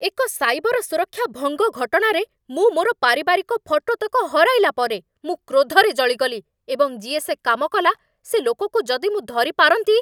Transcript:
ଏକ ସାଇବର ସୁରକ୍ଷା ଭଙ୍ଗ ଘଟଣାରେ ମୁଁ ମୋର ପାରିବାରିକ ଫଟୋତକ ହରାଇଲା ପରେ ମୁଁ କ୍ରୋଧରେ ଜଳିଗଲି, ଏବଂ ଯିଏ ସେ କାମ କଲା, ସେ ଲୋକକୁ ଯଦି ମୁଁ ଧରି ପାରନ୍ତି!